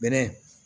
Bɛlɛ